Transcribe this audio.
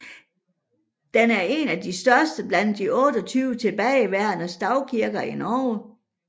Den er en af de største blandt de 28 tilbageværende stavkirker i Norge